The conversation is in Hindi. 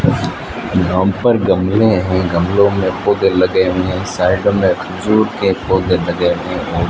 यहां पर गमले हैं गमलों में पौधे लगे हुए हैं साइड में खजूर के पौधे लगे हैं।